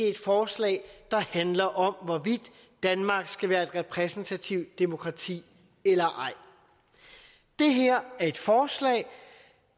et forslag der handler om hvorvidt danmark skal være et repræsentativt demokrati eller ej det her er et forslag